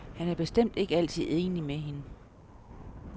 Han er bestemt ikke altid enig med hende.